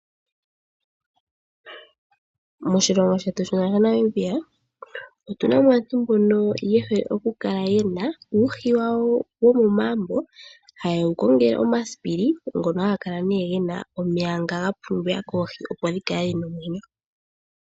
Moshilongo shetu shaNamibia otu na mo aantu mbono ye hole okukala ye na uuhi wawo momagumbo haye wu kongele omasipili ngono haga kala ge na omeya nga ga pumbiwa koohi, opo dhi kale dhi na omwenyo.